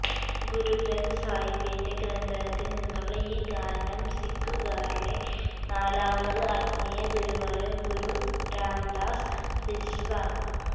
ഗുരുഗ്രഥ് സാഹിബിന്റെ ഗ്രന്ഥത്തിൽ നിന്നുള്ള ഈ ഗാനം സിഖുകാരുടെ നാലാമത് ആത്മീയ ഗുരുവായ ഗുരു രാംദാസ് രചിച്ചതാണ്